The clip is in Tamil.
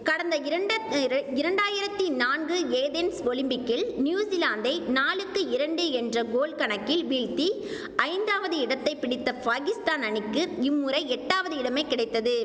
கடந்த இரண்டத் இரண்டாயிரத்தி நான்கு ஏதென்ஸ் ஒலிம்பிக்கில் நியூசிலாந்தை நாலுக்கு இரண்டு என்ற கோல் கணக்கில் வீழ்த்தி ஐந்தாவது இடத்தை பிடித்த ஃபாகிஸ்தான் அணிக்கு இம்முறை எட்டாவது இடமே கிடைத்தது